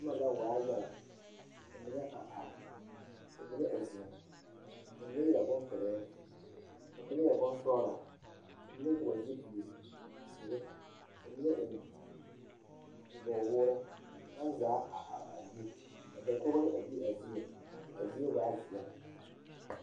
Noba la waa yaga ka mine a are ka mine a ziŋ la mine a yɛre boŋpile ka mine yɛre boŋsɔglɔ ka mine vɔgle zupile zee ka mine eŋ nyabogwoore baŋ zaa a are a be ka dakogro a be a zieŋ kaa zie zaa veɛlɛ.